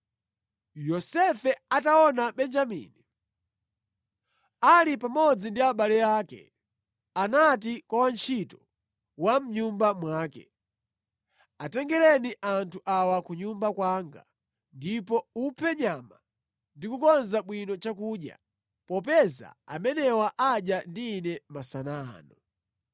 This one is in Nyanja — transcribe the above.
Yosefe ataona Benjamini ali pamodzi ndi abale ake, anati kwa wantchito wa mʼnyumba mwake, “Atengereni anthu awa ku nyumba kwanga, ndipo uphe nyama ndi kukonza bwino chakudya popeza amenewa adya ndi ine masana ano.”